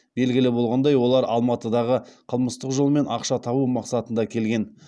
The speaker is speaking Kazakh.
белгілі болғандай олар алматыға қылмыстық жолмен ақша табу мақсатында келген